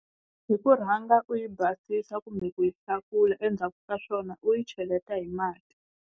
Hi ku rhanga u yi basisa kumbe ku yi hlakula endzhaku ka swona u yi cheleta hi mati.